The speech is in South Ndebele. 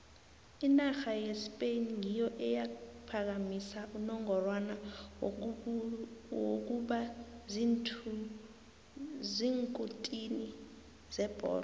inarha yespain ngiyo eyaphakamisa unongorwana wokuba ziinkutini zebholo